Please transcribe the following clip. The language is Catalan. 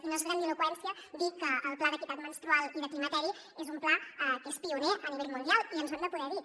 i no es grandiloqüència dir que el pla d’equitat menstrual i de climateri és un pla que és pioner a nivell mundial i ens ho hem de poder dir